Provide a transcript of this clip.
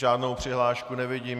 Žádnou přihlášku nevidím.